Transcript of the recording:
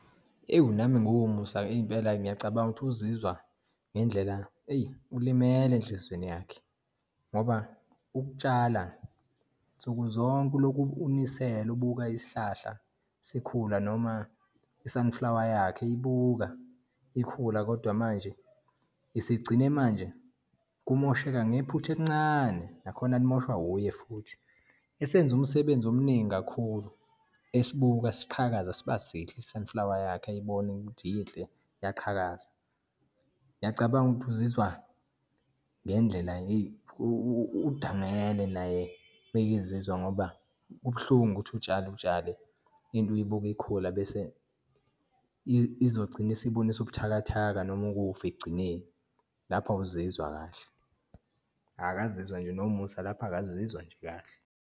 Ewu, nami ngiwuMusa impela, ngiyacabanga ukuthi uzizwa ngendlela, eyi ulimele enhlizweni yakhe, ngoba ukutshala, nsukuzonke ulokhu unisela ubuka isihlahla sikhula noma i-sunflower yakhe eyibuka ikhula. Kodwa manje isigcine manje kumosheka ngephutha elincane, nakhona limoshwa wuye futhi, esenze umsebenzi omningi kakhulu esibuka siqhakaza siba sihle, i-sunflower yakhe ayibone ukuthi inhle iyaqhakaza. Ngiyacabanga ukuthi uzizwa ngendlela, heyi udangele naye, mekezizwa ngoba kubuhlungu ukuthi utshale utshale, into uyibuke ikhula bese izogcina isibonisa ubuthakathaka noma ukufa ekugcineni. Lapho awuzizwa kahle, akazizwa nje noMusa, lapho akazizwa nje kahle.